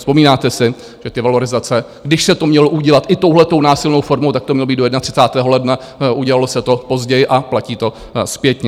Vzpomínáte si, že ty valorizace, když se to mělo udělat i touhletou násilnou formou, tak to mělo být do 31. ledna, udělalo se to později a platí to zpětně.